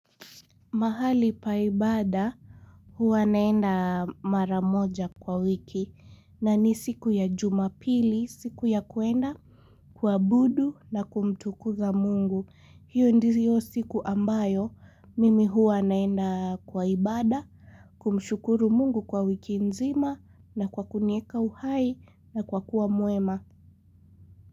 Mahali pa ibada huwa naenda mara moja kwa wiki na ni siku ya jumapili siku ya kuenda kuabudu na kumtukuza mungu. Hio ndizio siku ambayo mimi huwa naenda kwa ibada kumshukuru mungu kwa wiki nzima na kwa kunieka uhai na kwa kuwa mwema.